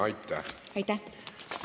Aitäh!